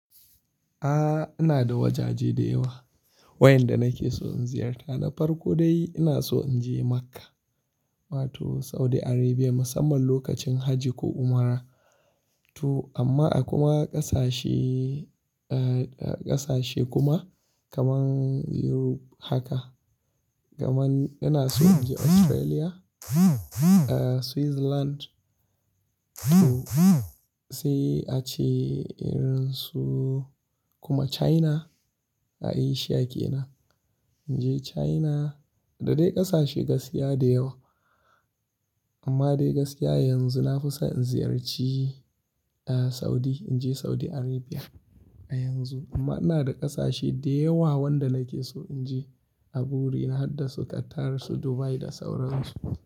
Ah, ina da wajaje da yawa wainda nake so in ziyarta. Na farko dai ina so in je Makka wato Saudi Arabia musamman lokacin hajji ko umra tu amma a kuma ƙasashe, ƙasashe kuma kaman Europe haka. Kaman ina so in je Australia, Switzerland sai ace irin su kuma China a Asia ke nan. In je China da dai ƙasashe gaskiya da yawa. Amma dai gaskiya yanzu na fi so in ziyarci Saudi, in je Saudi Arabia a yanzu. Amma ina da ƙasashe da yawa wanda nake so in je a burina har da su Qatar su Dubai da sauran su.